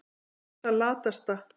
Þú ert það latasta.